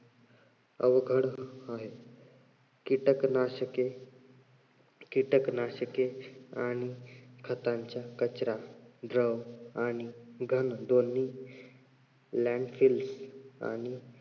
अवघड आहे. कीटकनाशके कीटकनाशके आणि खतांच्या कचरा आणि घन दोन्ही आणि